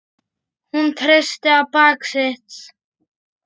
Hún treysti á bak sitt.